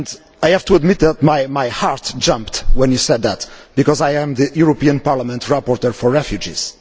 I have to admit that my heart jumped when you said that, because I am the European Parliament rapporteur for refugees.